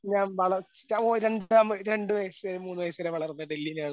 രണ്ട് വയസ്സ് മൂന്ന് വയസ്സ് വരെ വളർന്നത് ഡൽഹിയിലാണ്.